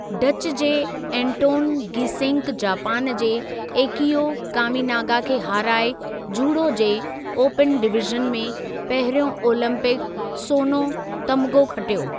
Dutch जे Anton Geesink Japan जे Akio Kaminaga खे हाराए जूडो जे ओपन डिवीज़न में पहिरियों ओलंपिक सोनो तमग़ो खटियो।